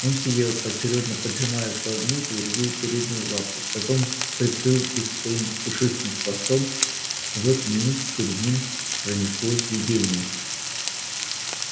он сидел поочерёдно поджимая то одну то другую переднюю лапу потом прикрыл их своим пушистым хвостом и в эту минуту перед ним пронеслось видение